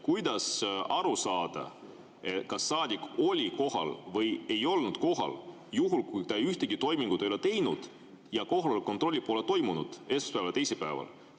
Kuidas aru saada, kas saadik oli kohal või ei olnud kohal, kui ta ühtegi toimingut ei ole teinud ja kohaloleku kontrolli pole esmaspäeval ja teisipäeval toimunud?